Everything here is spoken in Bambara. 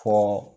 Fo